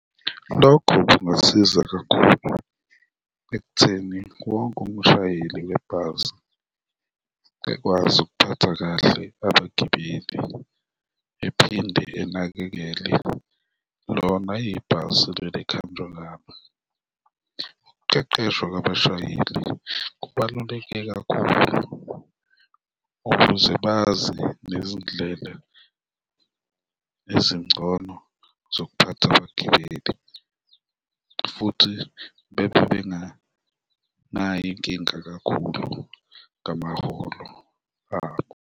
Lokho kungasiza kakhulu ekutheni wonke umshayeli webhasi ekwazi ukuphatha kahle abagibeli ephinde enakekele lona ibhasi leli ekuhanjwa ngalo. Ukuqeqeshwa kwabashayeli kubaluleke kakhulu ukuze bazi nezindlela ezingcono zokuphatha abagibeli futhi bebe benganayo inkinga kakhulu ngamaholo abo.